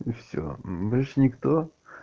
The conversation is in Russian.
и все больше никто